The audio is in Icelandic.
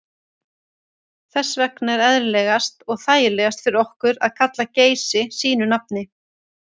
Þess vegna er eðlilegast og þægilegast fyrir okkur að kalla Geysi sínu nafni.